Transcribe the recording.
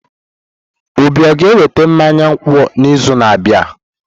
Obi o ga-eweta mmanya nkwụ n'izu na-abịa?